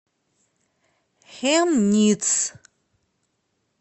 хемниц